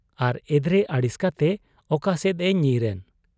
ᱟᱨ ᱮᱫᱽᱨᱮ ᱟᱹᱲᱤᱥ ᱠᱟᱛᱮ ᱚᱠᱟᱥᱮᱫ ᱮ ᱧᱤᱨᱮᱱ ?'